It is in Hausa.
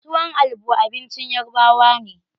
Tuwon albo abincin Yarbawa ne.